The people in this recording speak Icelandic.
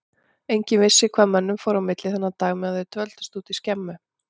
Enginn vissi hvað mönnunum fór á milli þennan dag meðan þeir dvöldust úti í skemmu.